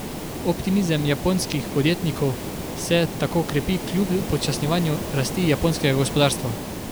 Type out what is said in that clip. Optimizem japonskih podjetnikov se tako krepi kljub upočasnjevanju rasti japonskega gospodarstva.